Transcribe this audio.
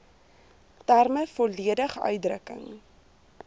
terme volledig uitdrukking